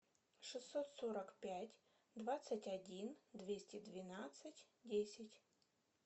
шестьсот сорок пять двадцать один двести двенадцать десять